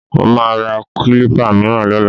Mo máa ra kílípà mìíràn lọ́la